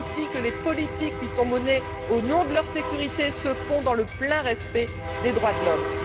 que les politiques qui sont menées au nom de leur sécurité se font dans le plein respect des droits de l'homme.